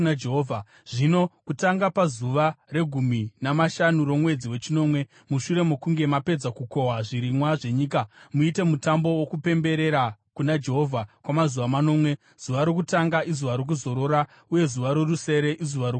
“ ‘Zvino kutanga pazuva regumi namashanu romwedzi wechinomwe, mushure mokunge mapedza kukohwa zvirimwa zvenyika, muite mutambo wokupemberera kuna Jehovha kwamazuva manomwe; zuva rokutanga izuva rokuzorora, uye zuva rorusere izuva rokuzororawo.